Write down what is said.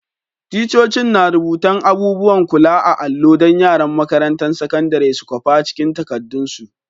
Ticcocin na rubutan abubuwan kula a'allo dan yaran makarantan sakandaren su kwapa cikin takadun su.